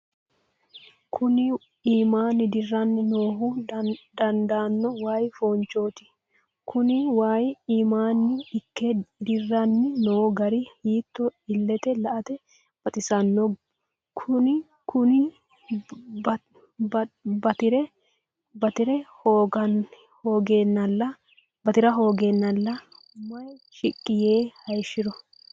Kunni iiminni diranni noohu daadano wayi foonchooti. Kunni wayi iiminni Ike diranni noo gari hiitto illete la'ate baxisano. Kunni batira hoogeennala mayi shiqi yee hayishiro.